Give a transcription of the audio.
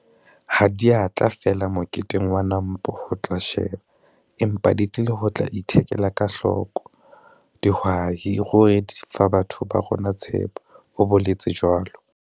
Ha di a tla feela moketeng wa NAMPO ho tla sheba empa di tlile ho tla ithekela ka hloko. Dihwai ruri di fa batho ba rona tshepo!' o boletse jwalo.